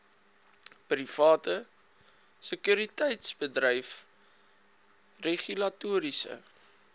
private sekuriteitsbedryf regulatoriese